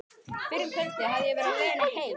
Fyrr um kvöldið hafði ég verið á leiðinni heim.